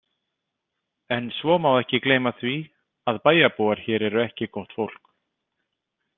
En svo má ekki gleyma því að bæjarbúar hér eru ekki gott fólk.